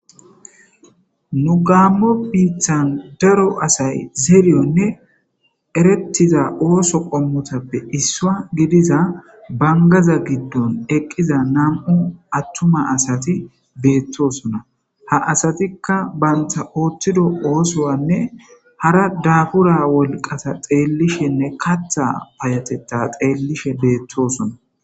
nu gamo biittan daro asay zeeriyonne erettiza ooso qommutappe issua gidiza bangaza giddon eqqiza nam7u attuma asati beettosona ha asatikka bantha ooththido oosoanne hara daabura wolqasa xeellishenne katha payatetta xeellishe beettosona